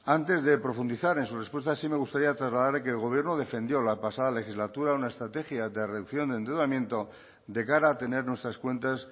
antes de profundizar en su respuesta sí me gustaría trasladarle que el gobierno defendió la pasada legislatura una estrategia de reducción de endeudamiento de cara a tener nuestras cuentas